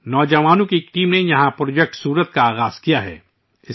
نوجوانوں کی ایک ٹیم نے وہاں 'پروجیکٹ سورت' شروع کیا ہے